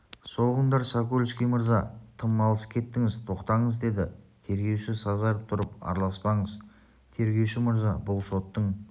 соғыңдар сокольский мырза тым алыс кеттіңіз тоқтатыңыз деді тергеуші сазарып тұрып араласпаңыз тергеуші мырза бұл соттың